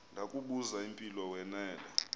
ndakubuz impilo wanela